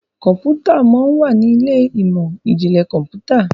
Kọ̀ǹpútà món wá ní Ilé ìmọ̀n-jinlẹ Kọ̀ǹpútà